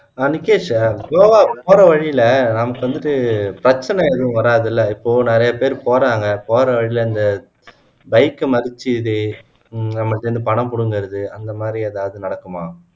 ஆஹ் நிக்கேஷ் கோவாக்கு போற வழில நமக்கு வந்துட்டு பிரச்சினை ஏதும் வறாதுல்ல இப்போ நிறைய பேரு போறாங்க போற வழில இந்த bike அ மரிச்சு இந்த இது நமக்கிட்ட இருந்து பணம் புடுங்குறது அந்த மாதிரி ஏதாவது நடக்குமா